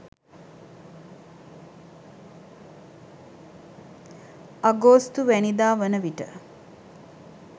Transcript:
අගෝස්තුවැනිදා වන විට